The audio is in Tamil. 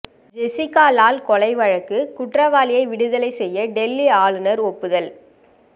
ஜெசிகா லால் கொலை வழக்கு குற்றவாளியை விடுதலை செய்ய டெல்லி ஆளுநர் ஒப்புதல்